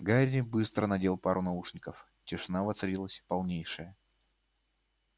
гарри быстро надел пару наушников тишина воцарилась полнейшая